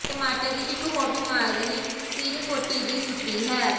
ਟਮਾਟਰ ਦੀ ਇਕ ਹੋਰ ਬਿਮਾਰੀ ਸਿਰਕੋਟੀ ਦੀ ਸੁੱਟੀ ਹੈ